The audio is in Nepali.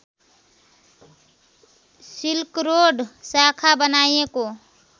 सिल्करोड शाखा बनाइएको